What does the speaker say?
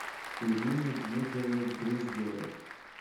ирине дмитриевне груздевой